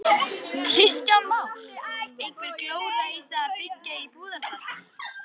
Kristján Már: Einhver glóra í því að byggja í Búðardal?